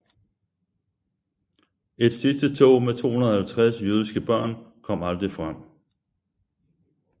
Et sidste tog med 250 jødiske børn kom aldrig frem